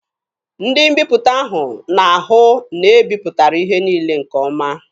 Ndị mbiputa ahụ na-ahụ na e bipụtara ihe niile nke ọma.